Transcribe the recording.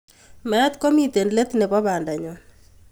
Meet komitei let nebo bandanyo.